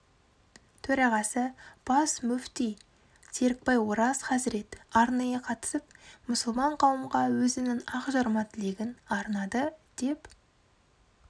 төрағасы бас мүфти серікбай ораз хазірет арнайы қатысып мұсылман қауымға өзінің ақжарма тілегін арнады деп